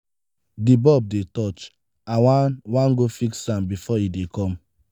the bulb dey touch i wan wan go fix am before e dey come.